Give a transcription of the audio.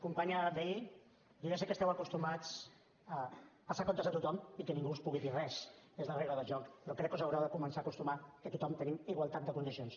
companya vehí jo ja sé que esteu acostumats a passar comptes a tothom i que ningú us pugui dir res és la regla del joc però crec que us haureu de començar a acostumar que tothom tenim igualtat de condicions